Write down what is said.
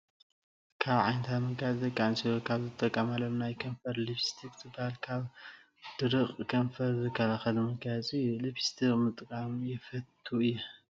ካብ ዓንታት መጋየፂ ደቂ-ኣንስትዮ ካብ ዝጥቃማሎም ናይ ከንፈር ሊፒስቲክ ዝበሃል ካብ ድርቀት ከንፈር ዝከላለል መጋየፂ እዩ። ሊፒስቲክ ምጥቃም የፈቱ እየ ።